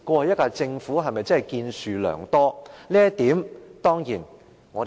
這一屆政府是否真的建樹良多？